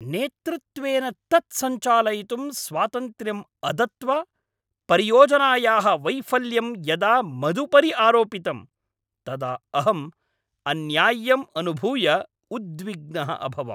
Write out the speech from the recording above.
नेतृत्वेन तत् सञ्चालयितुं स्वातन्त्र्यं अदत्वा परियोजनायाः वैफल्यं यदा मदुपरि आरोपितं तदा अहम् अन्याय्यम् अनुभूय उद्विग्नः अभवम्।